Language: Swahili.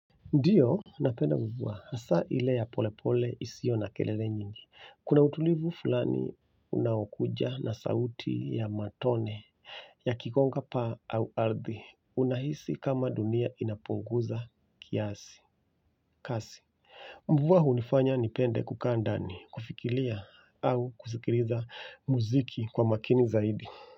Ndiyo, napenda mvua, hasaa ile ya polepole isiyo na kelele nyingi, kuna utulivu fulani unaokuja na sauti ya matone, yakikonga paa au ardhi, unahisi kama dunia inapunguza kiasi, kasi. Mvua hunifanya nipende kukaa ndani, kufikiria au kusikiliza muziki kwa makini zaidi.